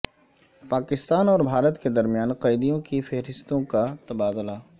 پاکستان اور بھارت کے درمیان قیدیوں کی فہرستوں کا تبادلہ